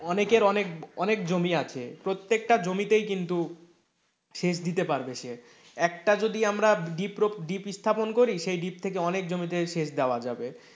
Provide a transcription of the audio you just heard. অনেকের অনেকে জমি আছে প্রত্যেকটা জমিতে কিন্তু সেচ দিতে পারবে সে, একটা যদি ডিপ প্রক ডিপ স্থাপন করি সেই ডিপ থেকে অনেক জমিতে সেচ দেওয়া যাবে, এবং,